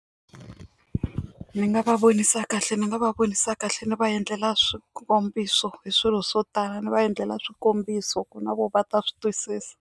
Ni nga va vonisa kahle ni nga va vonisa kahle ni va endlela swikombiso hi swilo swo tala ni va endlela swikombiso ku na vona va ta swi twisisa.